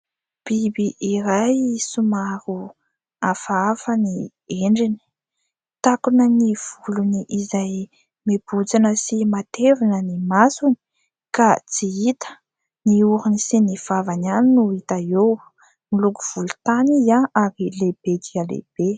Biby iray somary hafahafa ny endriny, takona ny volony izay mebotsina sy matevina ny masony ka tsy hita ny orony sy ny vavany ihany no hita eo, moloko volontany izy ary lehibe dia lehibe.